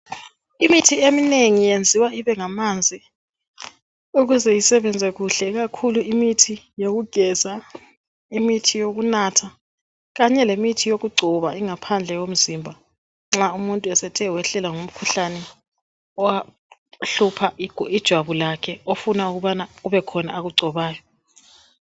Imithi eminengi yenziwa ibengamanzi ukuze isebenze kuhle ikakhulu imithi yokugeza, imithi yokunatha kanye lemithi yokugcoba ingaphandle yomzimba nxa umuntu esethe wehlelwa ngumkhuhlane ohlupha ijwabu lakhe ofuna kubekhona akugcobayo.